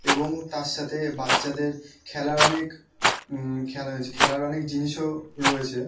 এবং তারসাথে বাচ্ছাদের খেলার অনেক উম খে খেলার অনেক জিনিস ও রয়েছে।